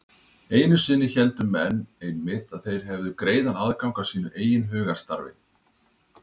Einu sinni héldu menn einmitt að þeir hefðu greiðan aðgang að sínu eigin hugarstarfi.